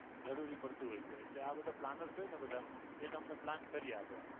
જરૂરી પડતું હોય છે આ બધા planners હોય ને બધા એ બધા તમને plan કરી આપે.